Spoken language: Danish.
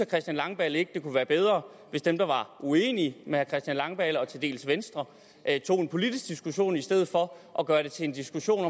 christian langballe ikke det kunne være bedre hvis dem der var uenige med herre christian langballe og til dels venstre tog en politisk diskussion i stedet for at gøre det til en diskussion